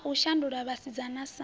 a u shandula vhasidzana sa